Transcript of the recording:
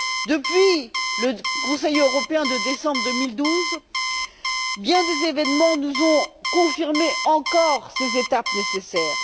Depuis le Conseil européen de décembre 2012, bien des événements sont venus nous confirmer à nouveau encore ces étapes nécessaires.